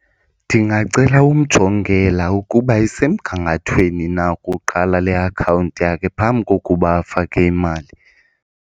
Ndingacela umjongela ukuba isemgangathweni na kuqala le akhawunti yakhe phambi kokuba afake imali.